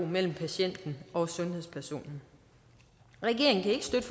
mellem patienten og sundhedspersonen regeringen kan ikke støtte